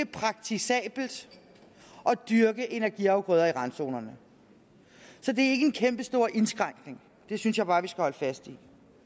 praktisabelt at dyrke energiafgrøder i randzonerne så det er ikke en kæmpestor indskrænkning det synes jeg bare vi skal holde fast